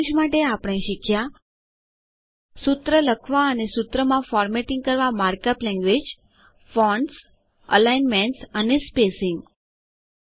સારાંશ માટે આપણે શીખ્યા સૂત્ર લખવા અને સૂત્રમાં ફોર્મેટિંગ કરવા માર્ક અપ લેન્ગવેજ160 ફોન્ટ્સઅલાઈનમેન્ટગોઠવણી અને સ્પેસીંગઅંતર રાખવું